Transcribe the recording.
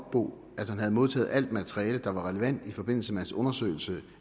otbo at han havde modtaget alt materiale der var relevant i forbindelse med hans undersøgelse